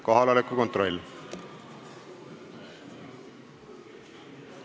Kohaloleku kontroll.